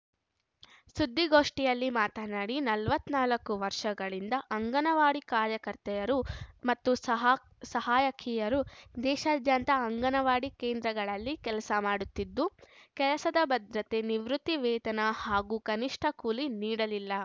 ಸುದ್ದಿಗೋಷ್ಠಿಯಲ್ಲಿ ಮಾತನಾಡಿ ನಲವತ್ತ್ ನಾಲ್ಕು ವರ್ಷಗಳಿಂದ ಅಂಗನವಾಡಿ ಕಾರ್ಯಕರ್ತೆಯರು ಮತ್ತು ಸಹಾ ಸಹಾಯಕಿಯರು ದೇಶಾದ್ಯಂತ ಅಂಗನವಾಡಿ ಕೇಂದ್ರಗಳಲ್ಲಿ ಕೆಲಸ ಮಾಡುತ್ತಿದ್ದು ಕೆಲಸದ ಭದ್ರತೆ ನಿವೃತ್ತಿ ವೇತನ ಹಾಗೂ ಕನಿಷ್ಠ ಕೂಲಿ ನೀಡಲಿಲ್ಲ